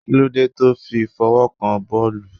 Kí ló dé tó fi fọwọ́ kan boolu?